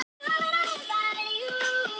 Það var varla heil spjör á okkur.